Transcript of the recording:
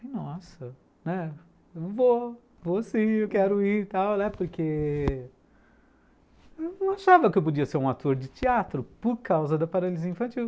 Nossa, né, vou, vou sim, eu quero ir, porque eu não achava que eu podia ser um ator de teatro por causa da paralisia infantil.